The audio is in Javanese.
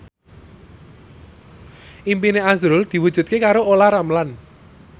impine azrul diwujudke karo Olla Ramlan